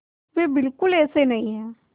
वे बिल्कुल ऐसे नहीं हैं